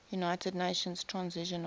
united nations transitional